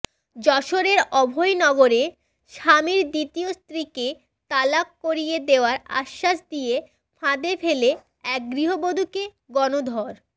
যশোরের অভয়নগরে স্বামীর দ্বিতীয় স্ত্রীকে তালাক করিয়ে দেয়ার আশ্বাস দিয়ে ফাঁদে ফেলে এক গৃহবধুকে গণধর